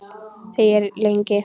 Þegir lengi.